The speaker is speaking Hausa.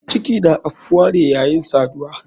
Ciki na afkuwane yayin saduwa.